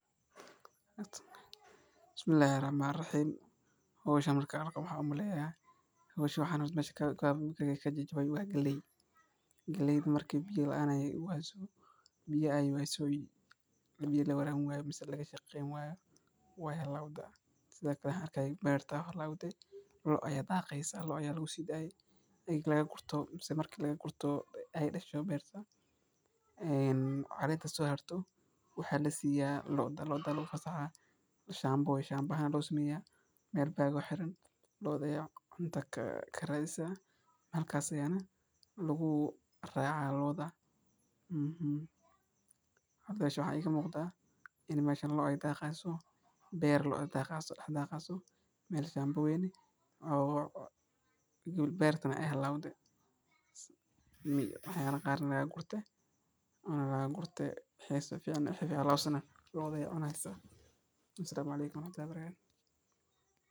Balka lo’da daaqsado waa dhul caws iyo dhir leh oo loogu talagalay in xoolaha sida lo’da, ariga, iyo geela ay ka daaqaan. Balka wuxuu door weyn ka ciyaaraa nolosha dadka xoolo-dhaqatada ah, maadaama uu yahay isha ugu weyn ee ay ka helaan cunto iyo nafaqo xoolahooda. Waxaa muhiim ah in balka uu ahaado mid cagaaran, leh caws tayo leh, biyo ku dhow, isla markaana ka fog wasakhda ama sunta keeni karta cudurro. Lo’da oo helaysa daaq wanaagsan waxay siisaa caano badan, hilib tayo leh, sidoo kalena way caafimaad badan yihiin.